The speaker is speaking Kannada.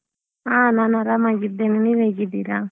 ಹ ನಾನು ಆರಾಮಾಗಿದ್ದೇನೆ ನೀವು ಹೇಗಿದ್ದೀರಾ?